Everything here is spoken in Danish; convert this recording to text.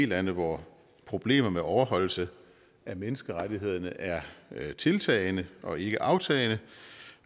lande hvor problemer med overholdelse af menneskerettigheder er tiltagende og ikke aftagende